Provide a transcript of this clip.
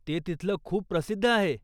ते तिथलं खूप प्रसिद्ध आहे.